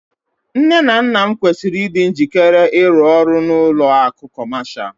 Nne na nna m kwesịrị ịdị njikere ịrụ ọrụ n'ụlọ akụ̀ Kọmashal